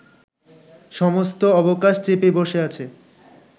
সমস্ত অবকাশ চেপে বসে আছে